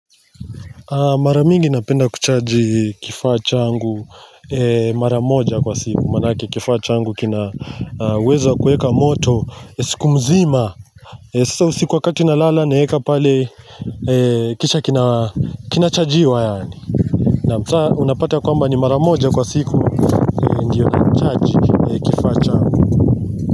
Mara mingi napenda kuchaji kifaa changu mara moja kwa siku maanake kifaa changu kinaweza kueka moto siku mzima Sasa usiku wakati nalala naeka pale kisha kinachajiwa yaani na saa unapata kwamba ni mara moja kwa siku ndiyo nachaji kifaa changu.